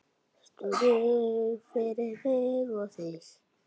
Snúður fyrir mig og þig.